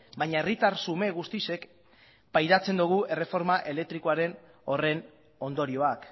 baina herritar xume guztiok pairatzen dugu erreforma elektriko horren ondorioak